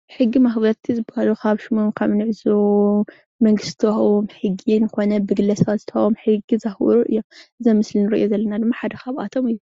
ሕጊ መክበርቲ ዝበሃሉ ካብ ሽሞም ካብ ንዕዘቦ መንግስቲ ዝተበሃቦም ሕጊ ኮነ ብግለሰባት ዝተበሃቦም ሕጊ ዘክብሩ እዮም። እዚ ምስሊ እንርእዮ ዘለና ደሞ ሓደ ካብኣቶ እዩ።